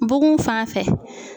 Bugun fan fɛ.